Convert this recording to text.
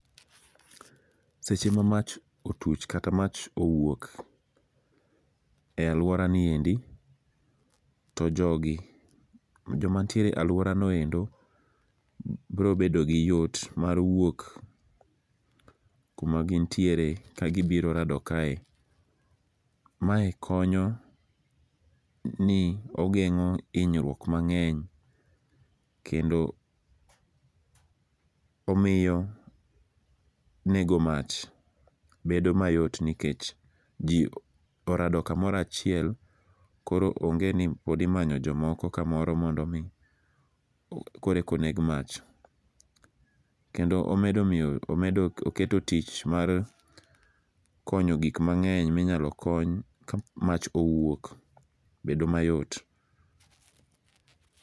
Seche ma mach otuch kata mach owuok, ealuoraniendi to jogi, joma nitie e aluorano endo biro bedo gi yot mar wuok kuma gintiere kagibiro rado kae. Mae konyo ni ogeng'o hinyruok mang'eny kendo omiyo nego mach bedo mayot nikech ji orado kamoro achiel koro onge ni pod imanyo jomoko kamoro mondo omi koro eka oneg mach. Kendo omedo oketo tich mar konyo gik mang'eny minyalo kony ka mach owuok bedo mayot.